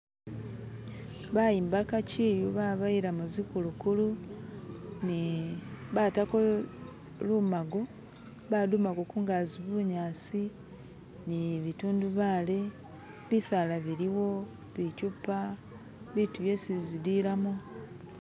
Bayimbaka chiyu babayilamo zikulukulu ne batako lumago balimako kungazi bunyasi ni bitundubale, bisala biliwo, bichupa, bitu byesi zililamo.